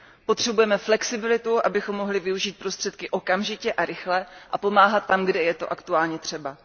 Potřebujeme flexibilitu, abychom mohli využít prostředky okamžitě a rychle a pomáhat tam, kde je to aktuálně třeba.